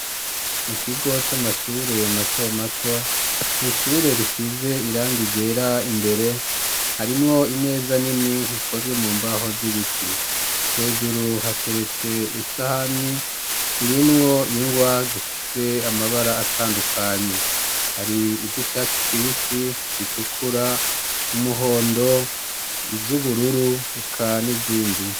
Mu kigo c'amashure mato mato mu ishure risize irangigera imbere harimwo imeza nini hikozwe mu mbaho z'ibiti hejuru hateretse isahani irimwo ingwa zifise amabara atandukanye hari iz'icatsi kibisi zitukura umuhondo iz'ubururu heka n'izindi.